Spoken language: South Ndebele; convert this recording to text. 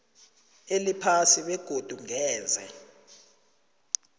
eliphasi begodu ngeze